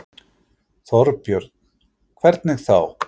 Þorbjörn: Hvernig þá?